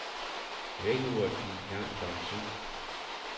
Vækkeuret gik i gang klokken syv.